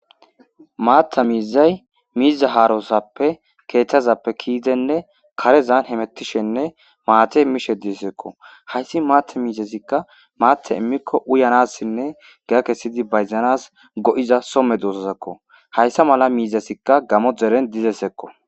Maaththa mizay izeta haarosope keeththazape kezidi karezan hamutishenne maata mishe deesko hayssi maaththi miizazika maaththi imiko uyanassine giya kessi bayzanas go7iza so medosazako miizazako hayssa miizazika gaamo deren dizayssako.